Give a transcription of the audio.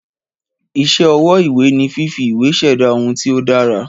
Ìsé ọwọ́ ìwé ni fífi ìwé ṣẹ̀dá ohun tí o dára